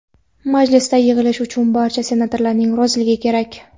Majlisga yig‘ilish uchun barcha senatorlarning roziligi kerak.